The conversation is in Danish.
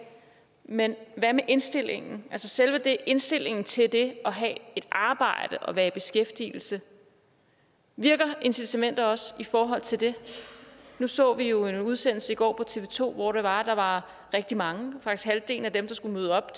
men hvad med indstillingen altså selve indstillingen til det at have et arbejde og være i beskæftigelse virker incitamenter også i forhold til det nu så vi jo en udsendelse i går på tv to hvor det var at der var rigtig mange faktisk halvdelen af dem der skulle møde op